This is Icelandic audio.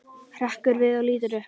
Hrekkur við og lítur upp.